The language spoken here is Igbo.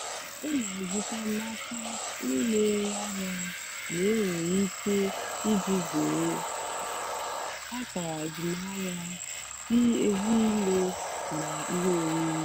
ọ́ nà-àzụ́tá n'ákà ndí nà-èrè àhịá mgbe énwèrè íké ìjì zèré àkàrà àzụ́mahìá dì ézílé nà íhé órírì.